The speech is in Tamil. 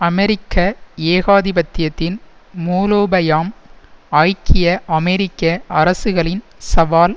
அமெரிக்க ஏகாதிபத்தியத்தின் மூலோபயாம் ஐக்கிய அமெரிக்க அரசுகளின் சவால்